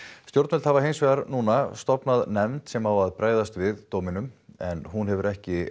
stjórnvöld hafa hinsvegar nú stofnað nefnd sem á að bregðast við dóminum en hún hefur ekki